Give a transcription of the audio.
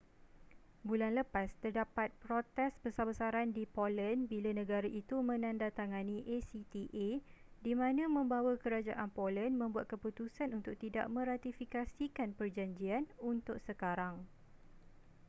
bulan lepas terdapat protes besar-besaran di poland bila negara itu menandatangani acta di mana membawa kerajaan poland membuat keputusan untuk tidak meratifikasikan perjanjian untuk sekarang